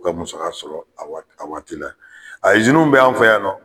U ka muso sɔrɔ a wa a waati la a iziniw b'an fɛ yan nɔ